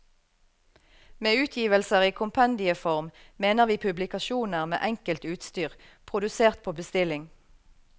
Med utgivelser i kompendieform mener vi publikasjoner med enkelt utstyr, produsert på bestilling.